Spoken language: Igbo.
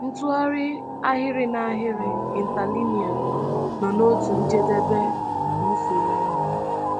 Ntụgharị ahịrị n’ahịrị (interlinear) nọ n’otu njedebe nke usoro ahụ.